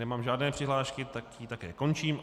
Nemám žádné přihlášky, tak ji také končím.